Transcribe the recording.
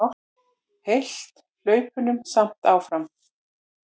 Hélt hlaupunum samt áfram.